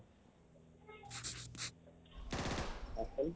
কওকচোন